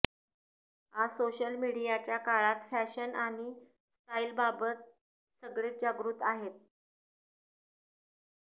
आज सोशल मीडियाच्या काळात फॅशन आणि स्टाईलबाबत सगळेच जागृत आहेत